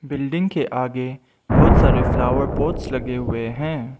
Building के आगे बहुत सारे फ्लावर पोट्स लगे हुए हैं।